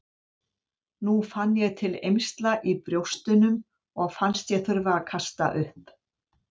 Nú fann ég til eymsla í brjóstunum og fannst ég þurfa að kasta upp.